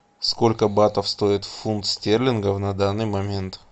сколько батов стоит фунт стерлингов на данный момент